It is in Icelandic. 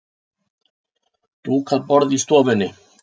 Dúkað borð í stofunni.